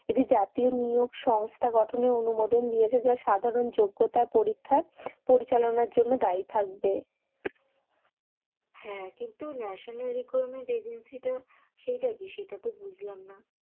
এটি জাতীয় নিয়োগ সংস্থা গঠনে অনুমোদন দিয়েছে যা সাধারণ যোগ্যতা পরীক্ষা পরিচালনার জন্য দায়ী থাকবে। হ্যাঁ কিন্তু ন্যাশনাল রিক্রুটমেন্ট এজেন্সীটা সেইটা কি সেটা তো বুঝলাম না।